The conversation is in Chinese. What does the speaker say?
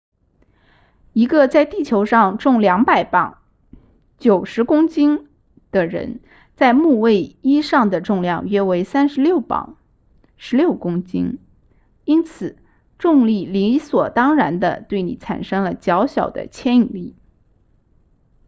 一个在地球上重200磅90公斤的人在木卫一上的重量约为36磅16公斤因此重力理所当然地对你产生了较小的牵引力